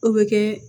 O bɛ kɛ